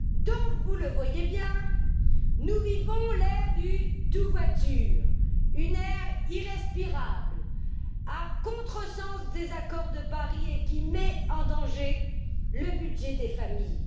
Donc, vous le voyez bien, nous vivons à l'ère du tout voiture, une ère irrespirable, à contresens des accords de Paris et qui met en danger le budget des familles.